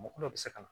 Mɔgɔ dɔw bɛ se ka na